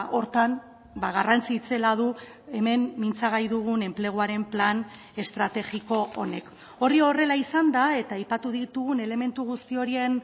horretan garrantzi itzela du hemen mintzagai dugun enpleguaren plan estrategiko honek hori horrela izanda eta aipatu ditugun elementu guzti horien